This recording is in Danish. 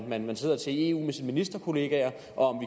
man sidder til i eu med sine ministerkollegaer og